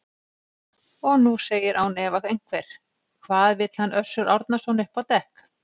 Og nú segir án efa einhver: Hvað vill hann Össur Árnason upp á dekk?